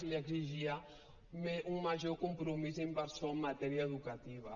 li exigia un major compromís inversor en matèria educativa